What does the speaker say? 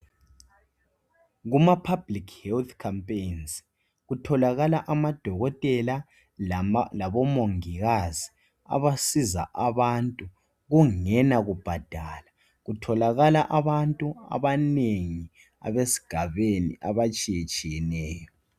Kumapublic health Champaign kutholakala amadokotela labomongikazi abasiza abantu kungela kubhadala. Kutholakala abantu abanengi abesigabeñi abatshiyetshiyeneyo.